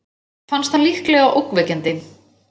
Fannst hann líklega ógnvekjandi.